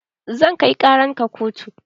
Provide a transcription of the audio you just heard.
Zan kai ƙaran ka kotu